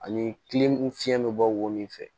Ani kile fiɲɛ bɛ bɔ wo min fɛ